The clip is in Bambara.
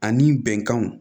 Ani bɛnkanw